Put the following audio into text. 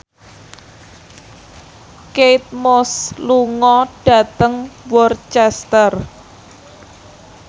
Kate Moss lunga dhateng Worcester